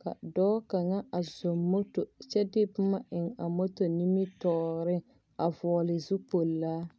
Ka dɔɔ kaŋa a zɔŋ moto kyɛ de boma eŋ a moto nimitɔɔreŋ a vɔɔle zupolaa.